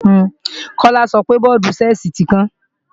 Kọ́lá sọpe bọ́ọ̀dù-Ṣẹ́ẹ̀sì tí kán